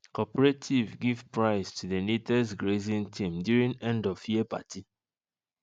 cooperative give prize to the neatest grazing team during end of year party